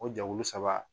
O jɛkulu saba